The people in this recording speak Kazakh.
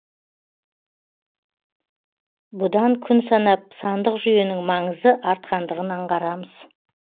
бұдан күн санап сандық жүйенің маңызы артқандығын аңғарамыз